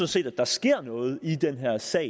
set at der sker noget i den her sag